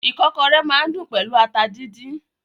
Ìkọ́kọrẹ́ máa n dùn pẹlú ata díndín.